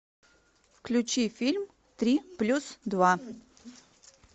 включи фильм три плюс два